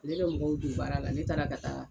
Ne bɛ mɔgɔw don baara la, ne taara ka taa